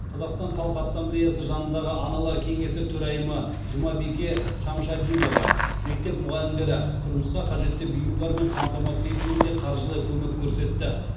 қазақстан халқы ассамблеясы жанындағы аналар кеңесі төрайымы жұмабике шамшадинова мектеп мұғалімдері тұрмысқа қажетті бұйымдармен қамтамасыз етілуіне қаржылай көмек көрсетті